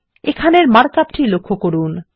এখানের markup টি লক্ষ্য করুন